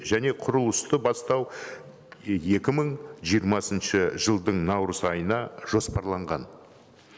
және құрылысты бастау екі мың жиырмасыншы жылдың наурыз айына жоспарланған